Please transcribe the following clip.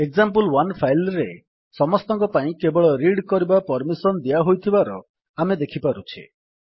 example one file ରେ ସମସ୍ତଙ୍କ ପାଇଁ କେବଳ ରିଡ୍ କରିବାର ପର୍ମିସନ୍ ଦିଆହୋଇଥିବାର ଆମେ ଦେଖିପାରୁଛେ